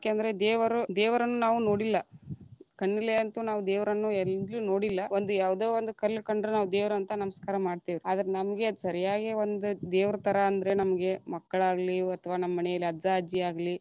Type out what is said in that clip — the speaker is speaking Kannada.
ಯಾಕಂದ್ರೆ ದೇವರು ದೇವರನ್ನು ನಾವು ನೋಡಿಲ್ಲ, ಕಣ್ಣೀಲೆ ಅಂತು ನಾವ್‌ ದೇವರನ್ನು ಎಲ್ಲಿಯೂ ನೋಡಿಲ್ಲ, ಒಂದು ಯಾವದ ಒಂದ ಕಲ್ಲ ಕಂಡ್ರ ನಾವ್ ದೇವರಂತ ನಮಸ್ಕಾರ ಮಾಡ್ತೇವ.‌ ಆದರ ನಮಗೆ ಸರಿಯಾಗಿ ಒಂದ ದೇವರ ಥರಾ ಅಂದ್ರೆ ನಮ್ಗೆ ಮಕ್ಕಳಾಗಲಿ, ಅಥವಾ ನಮ್ಮ ಮನೇಲಿ ಅಜ್ಜ, ಅಜ್ಜಿಯಾಗಲಿ.